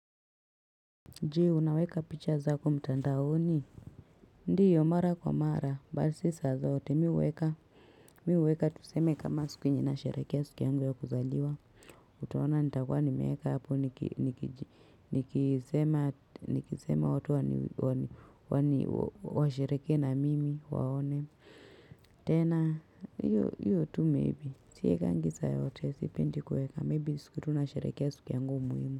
Je unaweka picha zako mtandaoni ndiyo mara kwa mara si saa zote mimi huweka tuseme kama siku ninasherekea siku yangu ya kuzaliwa utaona nitakuwa nimeweka hapo nikisema watu washerekee na mimi waone tena hiyo tu maybe siwekangi saa yote sipendi kuweka maybe siku tunasherekea siku yangu muhimu.